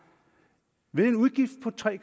ved en udgift på tre